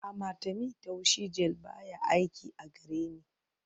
Amatemí taushi gel baya aiki a gareni